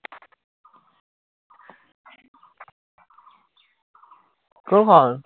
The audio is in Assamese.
কোনখন?